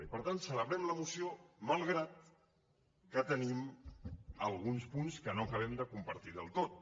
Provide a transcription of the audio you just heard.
i per tant celebrem la moció malgrat que tenim alguns punts que no acabem de compartir del tot